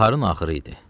Baharın axırı idi.